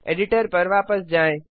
editor पर वापस जाएँ